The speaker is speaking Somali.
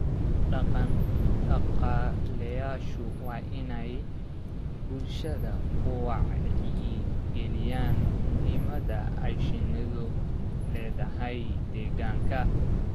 Dhaqan-dhaqaaleyaashu waa inay bulshada ku wacyigeliyaan muhiimadda ay shinnidu u leedahay deegaanka.